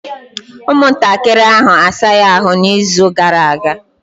Ụmụntakịrị ahụ asaghị ahụ n'izu gara aga.